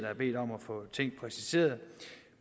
har bedt om at få ting præciseret